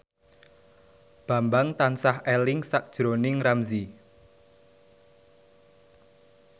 Bambang tansah eling sakjroning Ramzy